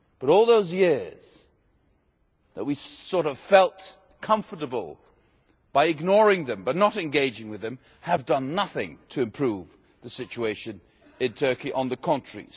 But all those years when we sort of felt comfortable by ignoring them but not engaging with them, have done nothing to improve the situation in Turkey, on the contrary.